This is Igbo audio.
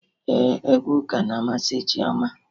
Ee, egwu ụka na amasị Chioma